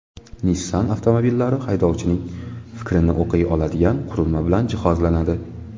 Nissan avtomobillari haydovchining fikrini o‘qiy oladigan qurilma bilan jihozlanadi.